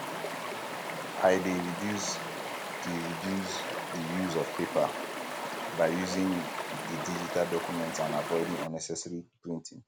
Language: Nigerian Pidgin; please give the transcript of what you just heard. i dey reduce di reduce di use of paper by um using di digital documents and avoiding um unnecessary printing